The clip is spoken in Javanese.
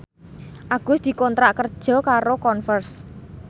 Agus dikontrak kerja karo Converse